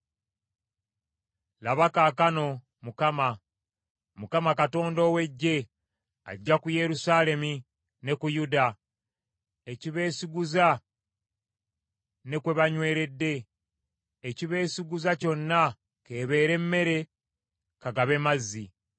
Laba kaakano, Mukama, Mukama Katonda ow’Eggye, aggya ku Yerusaalemi ne ku Yuda ekibeesiguza ne kwe banyweredde, ekibeesiguza kyonna k’ebeere mmere, ka gabe mazzi.